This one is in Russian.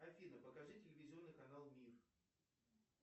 афина покажи телевизионный канал мир